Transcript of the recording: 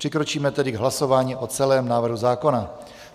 Přikročíme tedy k hlasování o celém návrhu zákona.